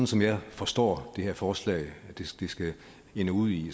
som jeg forstår det her forslag skal ende ud i